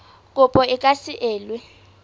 kopo e ka se elwe